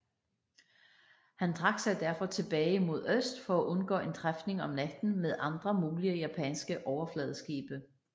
Han trak sig derfor tilbage mod øst for at undgå en træfning om natten med andre mulige japanske overfladeskibe